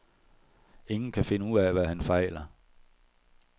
Ingen kan finde ud af, hvad han fejler.